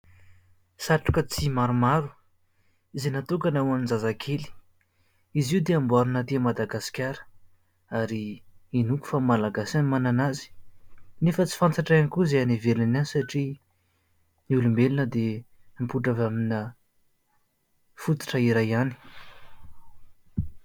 Satroka tsihy maromaro izay natokana ho an'ny zazakely. Izy io dia amboariana aty Madagasikara ary inoako fa malagasy no manana azy. Nefa tsy fantatra ihany koa izay any ivelany any satria ny olombelona dia mipoitra avy amina fototra iray ihany.